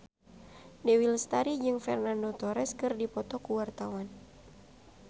Dewi Lestari jeung Fernando Torres keur dipoto ku wartawan